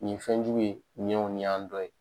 Nin ye fɛnjugu ye ni y'an dɔ ye.